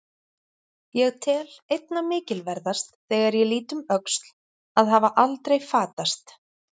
Ég tel einna mikilverðast, þegar ég lít um öxl, að hafa aldrei fatast.